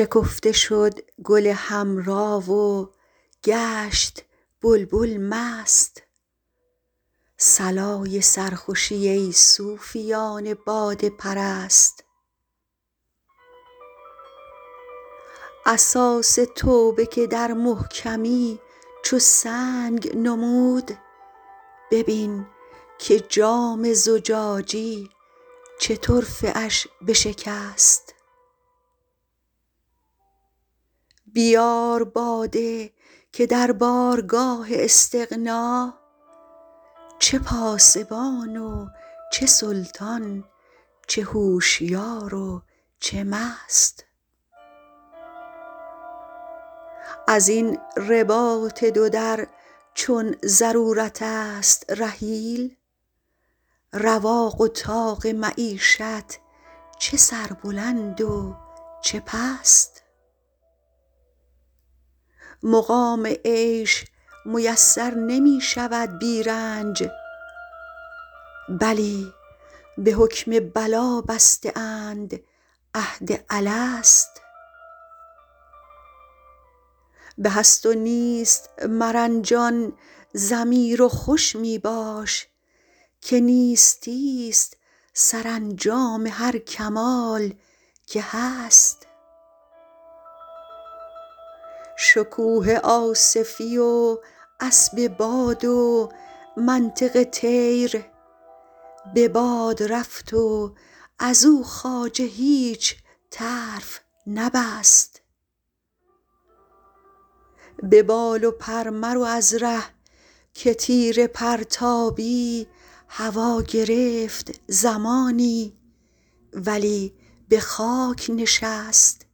شکفته شد گل حمرا و گشت بلبل مست صلای سرخوشی ای صوفیان باده پرست اساس توبه که در محکمی چو سنگ نمود ببین که جام زجاجی چه طرفه اش بشکست بیار باده که در بارگاه استغنا چه پاسبان و چه سلطان چه هوشیار و چه مست از این رباط دو در چون ضرورت است رحیل رواق و طاق معیشت چه سربلند و چه پست مقام عیش میسر نمی شود بی رنج بلی به حکم بلا بسته اند عهد الست به هست و نیست مرنجان ضمیر و خوش می باش که نیستی ست سرانجام هر کمال که هست شکوه آصفی و اسب باد و منطق طیر به باد رفت و از او خواجه هیچ طرف نبست به بال و پر مرو از ره که تیر پرتابی هوا گرفت زمانی ولی به خاک نشست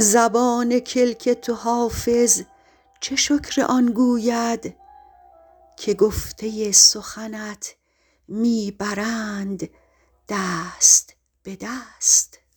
زبان کلک تو حافظ چه شکر آن گوید که گفته سخنت می برند دست به دست